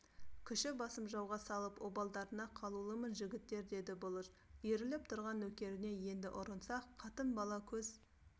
күші басым жауға салып обалдарыңа қалулымын жігіттер деді бұлыш иіріліп тұрған нөкеріне енді ұрынсақ қатын-бала көз